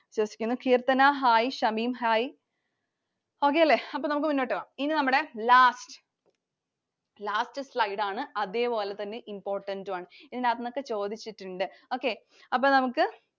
വിശ്വസിക്കുന്നു. Keerthana Hi. Shameem Hi. Okay അല്ലെ? അപ്പൊ നമുക്ക് മുന്നോട്ട് പോകാം. ഇത് നമ്മുടെ last, last slide ആണ്. അതേപോലെ തന്നെ important ഉം ആണ്. ഇതിനകത്തുന്നൊക്കെ ചോദിച്ചിട്ടുണ്ട്. Okay. അപ്പൊ നമുക്ക്